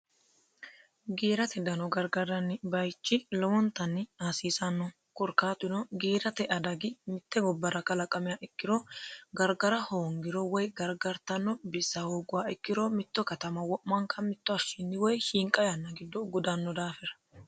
Kiirate dano gargartanni bayichi lowontanni hasiisano korkaatuno giirate danno mite gobara qalaqamiha ikiro gargara hoongiro woyi gargartanno bissa hooguha ikiro mitto katamma wo'manka mitu hashinni woyi shiinqa yanna gido gudano daafira.